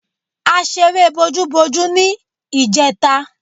A ṣeré bojúbojú ní ìjẹta.